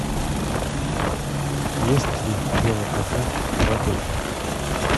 есть ли велопрокат в отеле